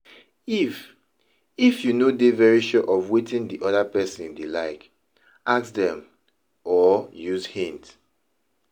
If If you no dey very sure of wetin di oda person dey like, ask dem or use hint